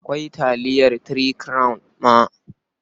Akwai taliyar Three Crown ma.